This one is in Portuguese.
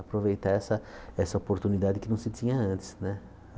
Aproveitar essa essa oportunidade que não se tinha antes né.